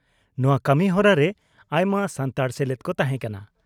ᱱᱚᱣᱟ ᱠᱟᱹᱢᱤ ᱦᱚᱨᱟ ᱨᱮ ᱟᱭᱢᱟ ᱥᱟᱱᱛᱟᱲ ᱥᱮᱞᱮᱫ ᱠᱚ ᱛᱟᱦᱮᱸ ᱠᱟᱱᱟ ᱾